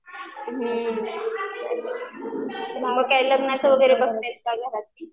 हुं चालेल मग काय लग्नाचं वगैरे बघतायेत का घरात?